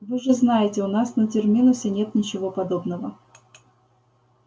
вы же знаете у нас на терминусе нет ничего подобного